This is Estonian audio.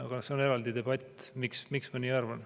Aga see on eraldi debatt, miks ma nii arvan.